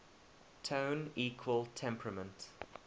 tone equal temperament